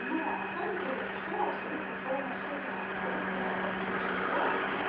но на самом деле это всё абсолютная условная ерунда привожу пример вот лично я